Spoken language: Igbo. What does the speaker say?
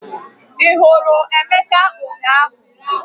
Ị hụrụ Emeka ụnyahụ?